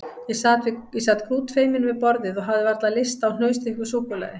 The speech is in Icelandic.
Ég sat grútfeiminn við borðið og hafði varla lyst á hnausþykku súkkulaði.